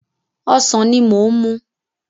Ọsàn ni mò ń mú.